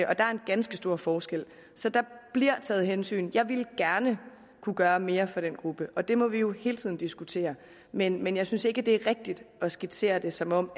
og der er en ganske stor forskel så der jeg ville gerne kunne gøre mere for den gruppe og det må vi jo hele tiden diskutere men jeg synes ikke det er rigtigt at skitsere det som om